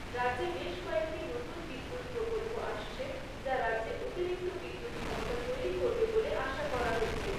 রাজ্যে বেশ কয়েকটি নতুন বিদ্যুৎ প্রকল্প আসছে যা রাজ্যে অতিরিক্ত বিদ্যুৎ ক্ষমতা তৈরি করবে বলে আশা করা হচ্ছে।